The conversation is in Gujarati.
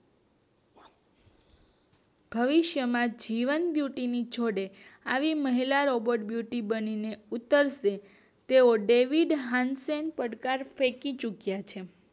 ભવિષ્ય માં જીવન વૃત્તિ ની જોડે આવી મહિલા રોબોટ બ્યુટી મળીને ઉત્તરસે તેવો હનસેન પડકાર જીતી ચુક્યા છે